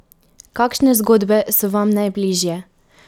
Kakšne zgodbe so vam najbližje?